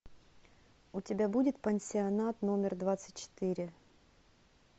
у тебя будет пансионат номер двадцать четыре